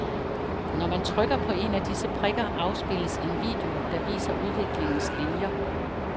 Når man trykker på en af disse prikker, afspilles en video, der viser udviklingens linier.